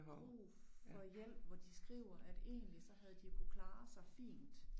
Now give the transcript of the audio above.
Brug for hjælp hvor de skriver at egentlig så havde de jo kunnet klare sig fint